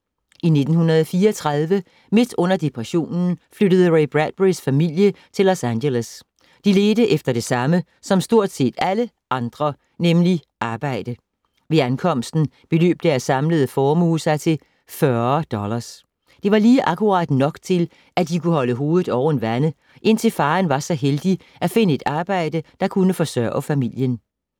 I 1934, midt under depressionen, flyttede Ray Bradburys familie til Los Angeles. De ledte efter det samme som stort set alle andre, nemlig arbejde. Ved ankomsten beløb deres samlede formue sig til 40 dollars. Det var lige akkurat nok til, at de kunne holde hovedet oven vande, indtil faderen var så heldig at finde et arbejde, der kunne forsørge familien.